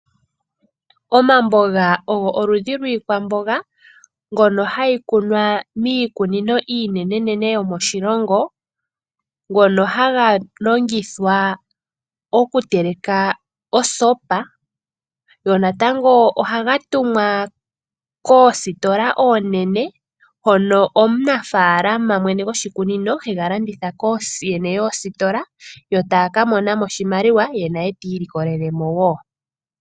Omamboga ogo oludhi lwiikwamboga mbyono hayi kunwa miikunino iinenenene yomoshilongo, ngono haga longithwa oku teleka osopa, go natango ohaga tumwa koositola oonene hono omunafaalama mwene gwoshikunino hega landitha kooyene yoositola, yo taya ka mona mo oshimaliwa, ye naye ti ilikolele mo wo.